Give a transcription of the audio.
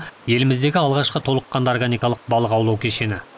еліміздегі алғашқы толыққанды органикалық балық аулау кешені